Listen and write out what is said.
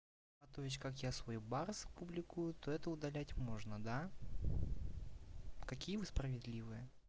а то есть как я свой барс публикую то это удалять можно да какие вы справедливые